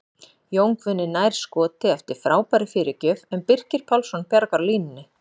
Jón Guðni nær skoti eftir frábæra fyrirgjöf en Birkir Pálsson bjargar á línunni!